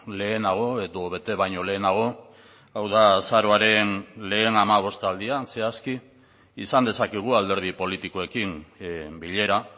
lehenago edo bete baino lehenago hau da azaroaren lehen hamabostaldian zehazki izan dezakegu alderdi politikoekin bilera